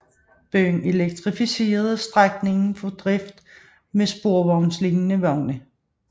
Byen elektrificerede strækningen for drift med sporvognslignende vogne